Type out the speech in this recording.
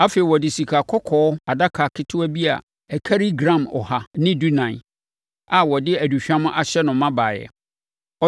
Afei, ɔde sikakɔkɔɔ adaka ketewa bi a ɛkari gram ɔha ne dunan (114) a wɔde aduhwam ahyɛ no ma baeɛ.